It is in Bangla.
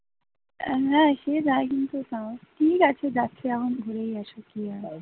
আহ না সে যায় কিন্তু তাও, কেউ একটা যাচ্ছে যখন ঘুরেই আসুক কি আর করার actually ঠিক আছে